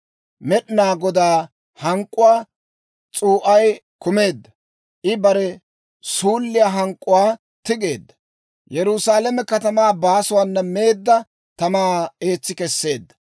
Med'inaa Godaa hank'k'uwaa s'uu'ay kumeedda; I bare suulliyaa hank'k'uwaa tigeedda. Yerusaalame katamaa baasuwaana meedda tamaa eetsi kesseedda.